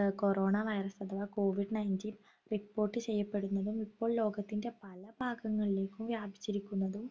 ഏർ corona virus അഥവാ COVID-19 report ചെയ്യപ്പെടുന്നതും ഇപ്പോൾ ലോകത്തിൻ്റെ പല ഭാഗങ്ങളിലേക്കും വ്യാപിച്ചിരിക്കുന്നതും